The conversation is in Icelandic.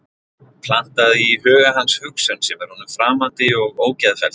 Plantað í huga hans hugsun sem er honum framandi og ógeðfelld.